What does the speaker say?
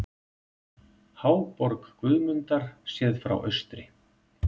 Háborg Guðmundar séð frá austri.